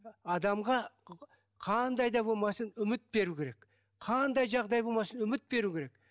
адамға қандай да болмасын үміт беру керек қандай жағдай болмасын үміт беру керек